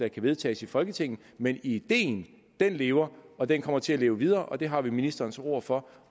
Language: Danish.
kan vedtages i folketinget men ideen lever og den kommer til at leve videre og det har vi ministerens ord for